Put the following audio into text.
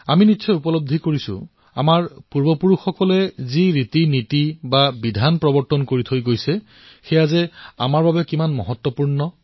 আমাৰ নিশ্চয়কৈ অনুভৱ হব যে আমাৰ পূৰ্বপুৰুষসকলে যি বিধি প্ৰণয়ন কৰিছিল সেয়া আজিও কিমান গুৰুত্বপূৰ্ণ